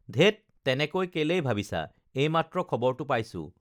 ধেৎ তেনেকৈ কেলেই ভাবিছা এইমাত্ৰ খবৰটো পাইছোঁ